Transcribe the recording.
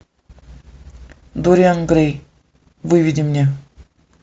дориан грей выведи мне